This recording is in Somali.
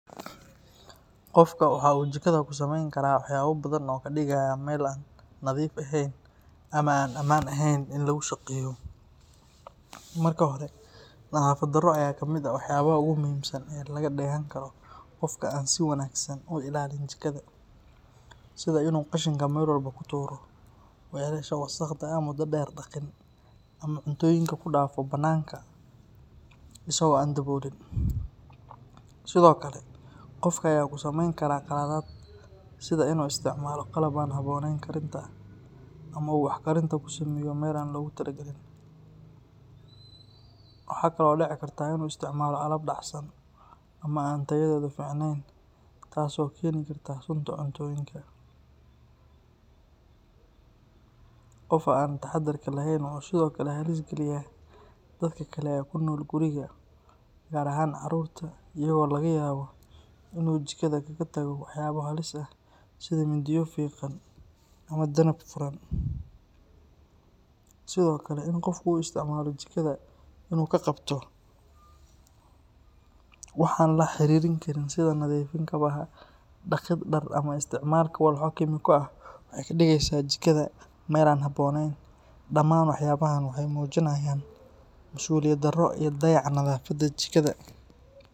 Qofku waxa uu jikada kusameyn karaa waxyaabo badan oo ka dhigaya meel aan nadiif ahayn ama aan ammaan ahayn in lagu shaqeeyo. Marka hore, nadaafad darro ayaa kamid ah waxyaabaha ugu muhiimsan ee laga dheehan karo qofka aan si wanaagsan u ilaalin jikada, sida in uu qashinka meel walba ku tuuro, weelasha wasakhda ah muddo dheer dhaqin, ama cuntooyinka ku dhaafo bannaanka isagoo aan daboolin. Sidoo kale, qofka ayaa ku sameyn kara qaladaad sida in uu isticmaalo qalab aan habboonayn karinta ama uu wax karinta ku sameeyo meel aan loogu talogalin. Waxaa kaloo dhici karta in uu isticmaalo alaab dhacsan ama aan tayadeedu fiicnayn taas oo keeni karta sunta cuntooyinka. Qofka aan taxadarka lahayn wuxuu sidoo kale halis geliyaa dadka kale ee ku nool guriga, gaar ahaan carruurta, iyadoo laga yaabo inuu jikada kaga tago waxyaabo halis ah sida mindiyo fiiqan ama danab furan. Sidoo kale, in qofku u isticmaalo jikada inuu ku qabto wax aan la xiriirin karinta sida nadiifin kabaha, dhaqid dhar, ama isticmaalka walxo kiimiko ah waxay ka dhigeysaa jikada meel aan habboonayn. Dhammaan waxyaabahaan waxay muujinayaan masuuliyad darro iyo dayaca nadaafadda jikada.